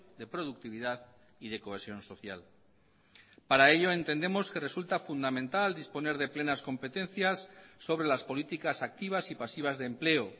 de productividad y de cohesión social para ello entendemos que resulta fundamental disponer de plenas competencias sobre las políticas activas y pasivas de empleo